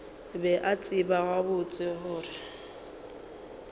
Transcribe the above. be a tseba gabotse gore